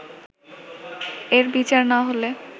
এর বিচার না হলে